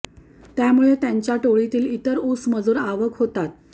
त्यामुळे त्यांच्या टोळीतील इतर ऊस मजूर आवाक होतात